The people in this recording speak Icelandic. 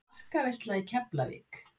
Markaveisla í Keflavík?